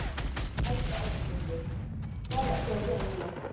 Helga Arnardóttir: Hvað ertu að gera núna?